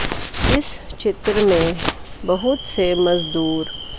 इस चित्र में बहुत से मजदूर--